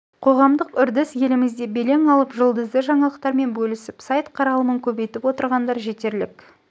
қоғамдық үрдіс елімізде белең алып жұлдызды жаңалықтармен бөлісіп сайт қаралымын көбейтіп отырғандар жетерлік